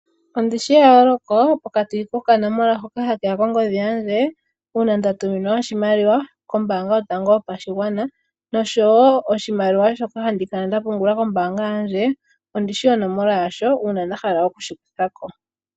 Ondi shi eyooloko pokati kokanomola hoka ha ke ya kongodhi yandje uuna nda tuminwa oshimaliwa kOmbaanga Yotango Yopashigwana nosho wo oshimaliwa shoka handi kala nda pungula kombaanga yandje ondi shi onomola yasho uuna nda hala oku shi kutha ko.